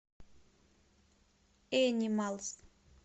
энималз